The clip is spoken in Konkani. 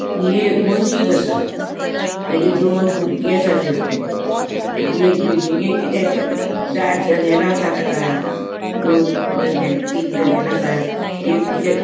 ए एक मस्जिद असा तेची दोन बुरगी असात तै फुड़े बिल्डींगेची दार जनेला असा ताका दोन जनेला तीन जनेला असा एक --